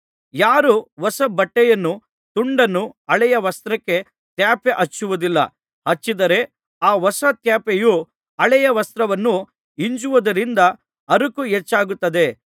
ಯಾರೂ ಹೊಸ ಬಟ್ಟೆಯ ತುಂಡನ್ನು ಹಳೆಯ ವಸ್ತ್ರಕ್ಕೆ ತ್ಯಾಪೆ ಹಚ್ಚುವುದಿಲ್ಲ ಹಚ್ಚಿದರೆ ಆ ಹೊಸ ತ್ಯಾಪೆಯು ಹಳೆಯ ವಸ್ತ್ರವನ್ನು ಹಿಂಜುವುದರಿಂದ ಹರಕು ಹೆಚ್ಚಾಗುತ್ತದೆ